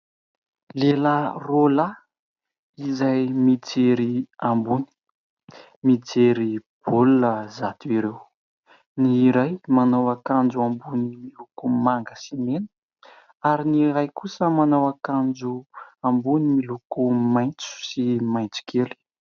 Lehilahy roa lahy izay mijery ambony, mijery baolina izato ireo. Ny iray manao akanjo ambony miloko manga sy mena ary ny iray kosa manao akanjo ambony miloko maitso sy maitso kely.